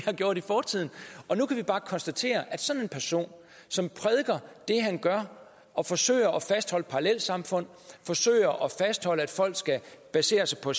har gjort i fortiden nu kan vi bare konstatere at sådan en person som prædiker det han gør og forsøger at fastholde parallelsamfund forsøger at fastholde at folk skal basere sig på